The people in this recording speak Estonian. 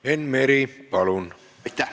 Enn Meri, palun!